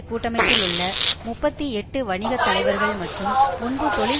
கூட்டமைப்பிலுள்ள முப்பத்தி எட்டு வணிக தலைவர்கள் மற்றும் முன்பு தொழிற்